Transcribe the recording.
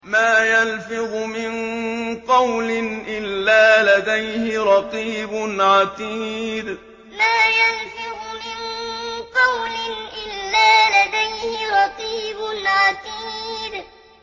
مَّا يَلْفِظُ مِن قَوْلٍ إِلَّا لَدَيْهِ رَقِيبٌ عَتِيدٌ مَّا يَلْفِظُ مِن قَوْلٍ إِلَّا لَدَيْهِ رَقِيبٌ عَتِيدٌ